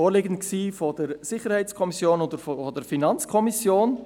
Vorliegend sind Mitberichte der SiK und der FiKo.